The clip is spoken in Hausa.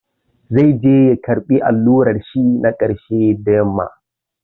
Zai je ya karɓi allurar shi na ƙarshe da yamma.